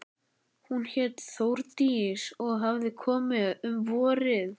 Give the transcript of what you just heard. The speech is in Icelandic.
Hún hét Þórdís og hafði komið um vorið.